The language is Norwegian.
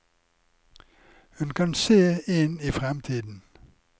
Hun kan se inn i fremtiden.